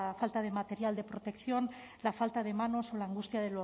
falta de material de protección la falta de manos o la angustia